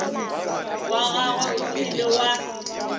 wa gagwe o ile wa